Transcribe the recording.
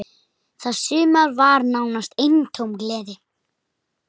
Það sumar var nánast eintóm gleði.